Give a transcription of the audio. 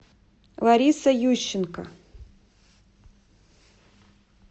лариса ющенко